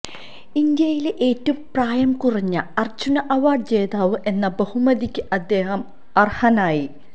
India യിലെ ഏറ്റവും പ്രായം കുറഞ്ഞ അര്ജ്ജുന അവാര്ഡ് ജേതാവ് എന്ന ബഹുമതിക്ക് അദ്ദേഹം അര്ഹനായി